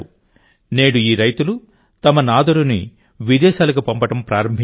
నేడు ఈ రైతులు తమ నాదరూని విదేశాలకు పంపడం ప్రారంభించారు